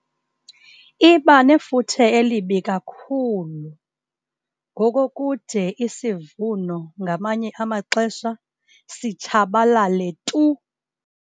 Iba nefuthe elibi kakhulu ngokokude isivuno ngamanye amaxesha sitshabalale tu.